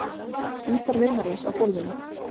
Gítar vinarins á gólfinu.